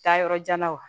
Taa yɔrɔ jan na wa